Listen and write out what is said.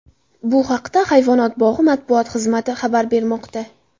Bu haqda hayvonot bog‘i matbuot xizmati xabar bermoqda .